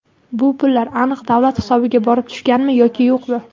Bu pullar aniq davlat hisobiga borib tushganmi yoki yo‘qmi?